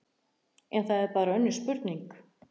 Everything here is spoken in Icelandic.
En það er bara önnur spurning.